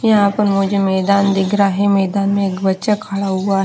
यहाँ पर मुझे मैदान दिख रहा है मैदान में एक बच्चा खड़ा हुआ है।